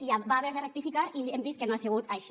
i va haver de rectificar i hem vist que no ha sigut així